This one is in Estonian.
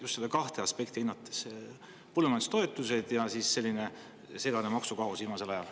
Just neid kahte aspekti hinnates: põllumajandustoetused ja maksukaos viimasel ajal.